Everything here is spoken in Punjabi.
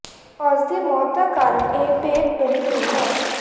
ਉਸ ਦੀ ਮੌਤ ਦਾ ਕਾਰਨ ਇੱਕ ਭੇਤ ਬਣੀ ਹੋਈ ਹੈ